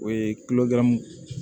O ye